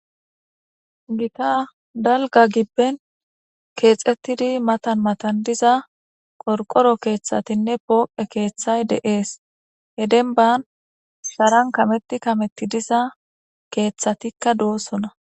Gita dalgga gibben keexettidi matan matan diza qorqqoro keethatinne pooqe keethay de7ees.he dembba Sharan kametti kametti diza keethatikka doosona.